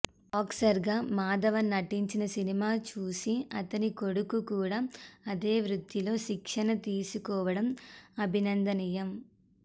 బాక్సర్గా మాధవన్ నటించిన సినిమా చూసి అతని కొడుకు కూడా అదే వృత్తిలో శిక్షణ తీసుకోవడం అభినందనీయం